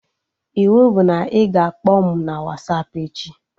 Iwu bụ na ị ga-akpọ m na Wasapụ echi!